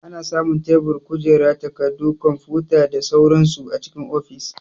Ana samun tebur, kujera, takarɗu, kwamfuta da sauran su a cikin ofis.